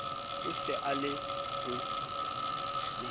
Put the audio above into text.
o se a le ho